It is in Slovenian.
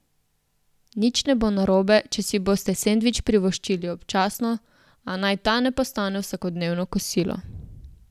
Nič ne bo narobe, če si boste sendvič privoščili občasno, a naj ta ne postane vsakodnevno kosilo.